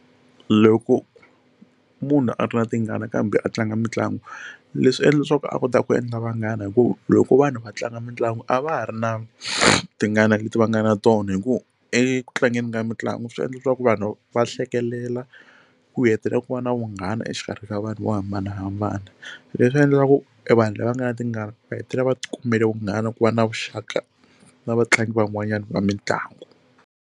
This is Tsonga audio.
Loko munhu a ri na tingana kambe a tlanga mitlangu leswi endla leswaku a kotaka ku endla vanghana hi ku loko vanhu va tlanga mitlangu a va ha ri na tingana leti va nga na tona hi ku eku tlangeni ka mitlangu swi endla leswaku vanhu va hlekelela ku hetelela ku va na vunghana exikarhi ka vanhu vo hambanahambana leswi endlaku e vanhu lava nga na tingana va hetelela va ti kumele vunghana ku va na vuxaka na vatlangi van'wanyana va mitlangu.